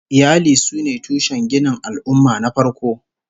Iyali sune tushen ginin al'ummah na farko